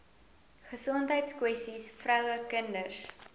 gesondheidskwessies vroue kinders